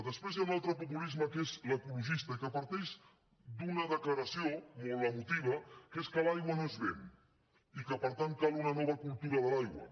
després hi ha un altre populisme que és l’ecologista i que parteix d’una declaració molt emotiva que és que l’aigua no es ven i que per tant cal una nova cultura de l’aigua